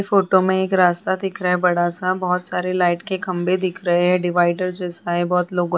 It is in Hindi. फोटो में एक रास्ता दिख रहा है बड़ा सा बहुत सारे लाइट के खम्बे दिख रहे हैं डिवाइडर जैसा है।